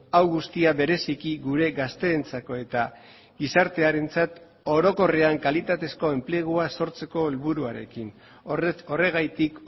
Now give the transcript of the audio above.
hau guztia bereziki gure gazteentzako eta gizartearentzat orokorrean kalitatezko enplegua sortzeko helburuarekin horregatik